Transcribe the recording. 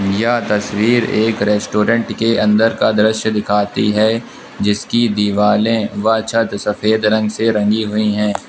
यह तस्वीर एक रेस्टोरेंट के अंदर का दृश्य दिखाती है जिसकी दीवालें व छत सफेद रंग से रंगी हुई हैं।